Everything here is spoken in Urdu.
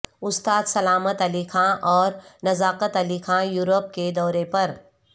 استاد سلامت علی خاں اور نزاکت علی خاں یورپ کے دورے پر